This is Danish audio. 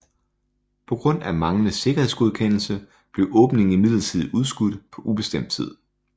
På grund af manglende sikkerhedsgodkendelse blev åbningen imidlertid udskudt på ubestemt tid